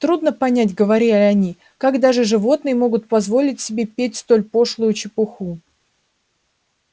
трудно понять говорили они как даже животные могут позволить себе петь столь пошлую чепуху